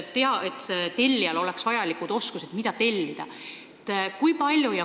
Tellijal peaksid olema vajalikud oskused, et ta teaks, mida tellida.